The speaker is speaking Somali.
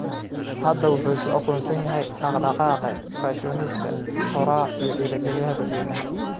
Hadda, wuxuu isu aqoonsan yahay dhaqdhaqaaqe, fashionista, qoraa iyo dhiirigeliyaha dadweynaha.